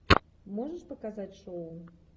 можешь показать шоу